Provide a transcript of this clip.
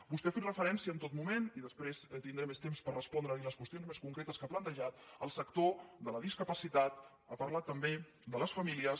vostè ha fet referència en tot moment i després tindré més temps per respondre·li les qüestions més concretes que ha plantejat al sector de la discapacitat ha parlat també de les famílies